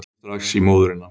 Ég hringi strax í móðurina.